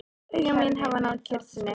Augu mín hafa náð kyrrð sinni.